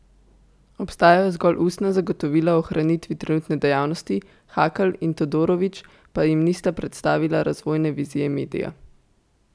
Obstajajo zgolj ustna zagotovila o ohranitvi trenutne dejavnosti, Hakl in Todorović pa jim nista predstavila razvojne vizije medija.